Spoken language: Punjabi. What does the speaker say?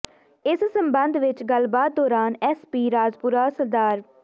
ਇਸ ਸਬੰਧ ਵਿੱਚ ਗਲਬਾਤ ਦੌਰਾਨ ਐਸ ਪੀ ਰਾਜਪੁਰਾ ਸ੍ਰ